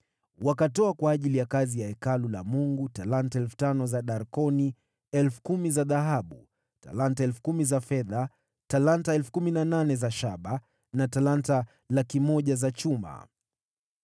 Wakatoa kwa ajili ya kazi ya Hekalu la Mungu talanta 5,000 na darkoni 10,000 za dhahabu, talanta 10,000 za fedha, talanta 18,000 za shaba na talanta 100,000 za chuma.